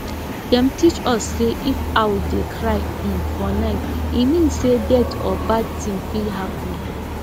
dem teach us say if owl dey cry um for night e mean say death or bad thing fit happen